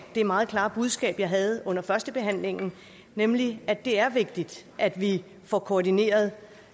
det meget klare budskab jeg havde under førstebehandlingen nemlig at det er vigtigt at vi får koordineret